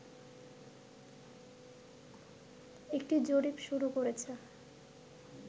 একটি জরিপ শুরু করেছে